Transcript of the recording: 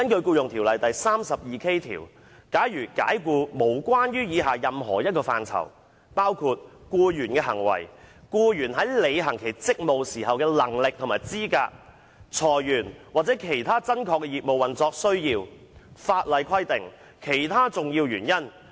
《僱傭條例》第 32K 條訂明解僱的正當理由，包括：僱員的行為、僱員在履行其職務時的能力或資格、裁員或其他真確的業務運作需要，法例規定及其他重要原因。